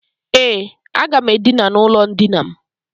E, aga m Edina n' ulo ndina m.